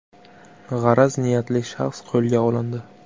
G‘araz niyatli shaxs qo‘lga olindi.